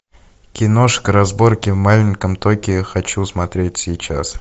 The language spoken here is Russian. киношка разборки в маленьком токио хочу смотреть сейчас